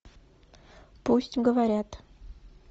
пусть говорят